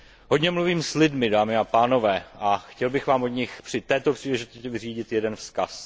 Hodně mluvím s lidmi, dámy a pánové, a chtěl bych vám od nich při této příležitosti vyřídit jeden vzkaz.